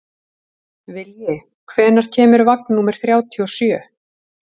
Vilji, hvenær kemur vagn númer þrjátíu og sjö?